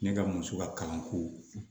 Ne ka muso ka kalanko